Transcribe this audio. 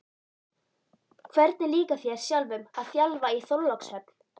Hvernig líkar þér sjálfum að þjálfa í Þorlákshöfn?